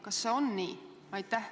Kas see on nii?